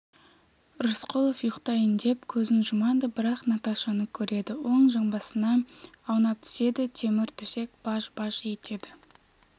рысқұлов ұйықтайын деп көзін жұмады бірақ наташаны көреді оң жамбасына аунап түседі темір төсек баж-баж етеді